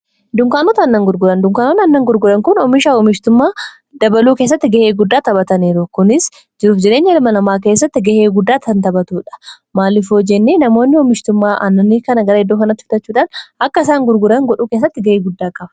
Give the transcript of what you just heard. Dunkaanota Aannan gurguran:-Dunkaanonni Aannan gurguran kun oomishaafi oomishtummaa dabaluu keessatti ga'ee guddaa taphataniiru. Kunis jiruuf jireenya ilma namaa keessatti ga'ee guddaa kan taphatudha. Maaliif yoojenne; Namoonni oomishtummaa Aannanii kana gara iddoo kanaatti fidachuudhaan akka isaan gurguran godhuu keessatti ga'ee guddaa qaba.